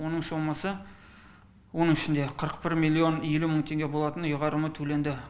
оның сомасы оның ішінде қырық бір миллион елу мың теңге болатын ұйғарымы төленді